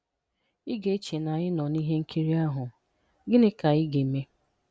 Ị ga-eche na anyị nọ na ihe nkiri ahụ, "Gịnị Ka Ị Ga-eme."